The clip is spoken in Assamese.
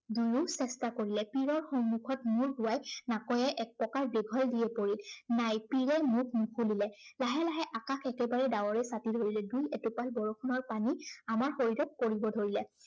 দুয়ো চেষ্টা কৰিলে। পীড়ৰ সন্মুখৰ মূৰ দোঁৱাই নাকৈয়ে এক প্ৰকাৰ দীঘল দিয়েই পৰিল। নাই পীড়ে মুখ নুঁখুলিলে। লাহে লাহে আকাশ একেবাৰে ডাৱৰে চাপি ধৰিলে। দুই এটোপাল পানী আমাৰ শৰীৰত পৰিব ধৰিলে।